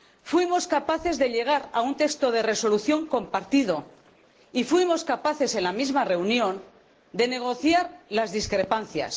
Fuimos capaces de llegar a un texto de resolución compartido y fuimos capaces, en la misma reunión, de negociar las discrepancias.